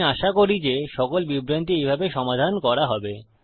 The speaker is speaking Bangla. আমি আশা করি যে সকল বিভ্রান্তি এইভাবে সমাধান করা হবে